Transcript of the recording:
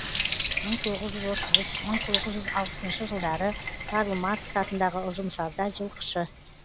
мың тоғыз жүз отыз үш мың тоғыз жүз алпысыншы жылдары карл маркс атындағы ұжымшарда жылқышы